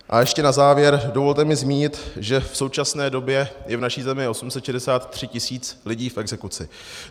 A ještě na závěr, dovolte mi zmínit, že v současné době je v naší zemi 863 tisíc lidí v exekuci.